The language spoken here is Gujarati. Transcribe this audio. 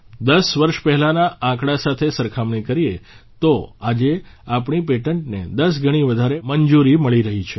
10 વર્ષ પહેલાંના આંકડા સાથે સરખામણી કરીએ તો આજે આપણી પેટન્ટને 10 ગણી વધારે મંજૂરી મળી રહી છે